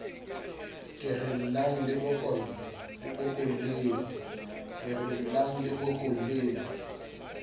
ke re llang le bokolleng